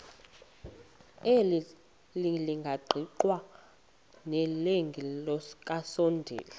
elingaqingqwanga nelinge kasondeli